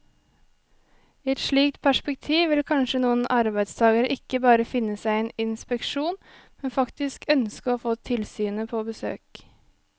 I et slikt perspektiv vil kanskje noen arbeidstagere ikke bare finne seg i en inspeksjon, men faktisk ønske å få tilsynet på besøk.